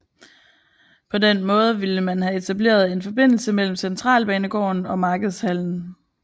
På den måde ville man have etableret en forbindelse mellem centralbanegården og markedshallen